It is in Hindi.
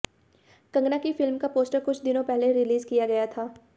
कंगना की फिल्म का पोस्टर कुछ दिनों पहले रिलीज किया गया था